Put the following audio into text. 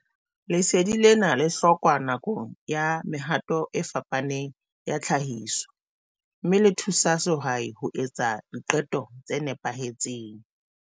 Lesedi lena le hlokwa nakong ya mehato e fapaneng ya tlhahiso, mme le thusa sehwai ho etsa diqeto tse nepahetseng.